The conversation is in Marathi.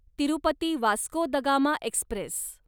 Tirupati Vasco da Gama Express